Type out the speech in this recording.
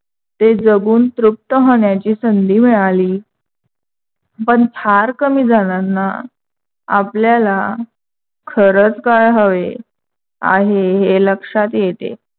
ते जगून तृप्त होण्याची संधी मिळाली, पण फार कमी जणांना आपल्याला खरंच काय हवे आहे? हे लक्षात येते.